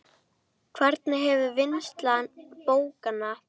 Hvernig hefur vinnsla bókanna breyst?